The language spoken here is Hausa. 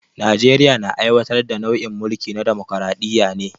Najeriya na aiwatar da nau'in mulki na damokaraɗiya ne